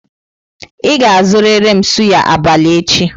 Ị ga-azụrịrị m suyà abalị echi!